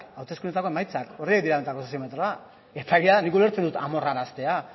hauteskundeetako emaitzak horiek dira benetako soziometroa eta egia da nik ulertzen dut amorraraztea